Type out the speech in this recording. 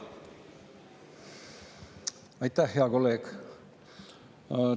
Aitäh, hea kolleeg!